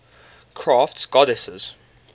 crafts goddesses